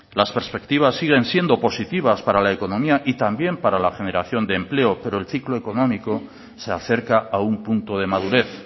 las perspectivas siguen siendo positivas para la económica y también para la generación de empleo pero el clico económico se acerca a un punto de madurez